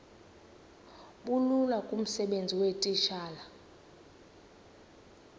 bulula kumsebenzi weetitshala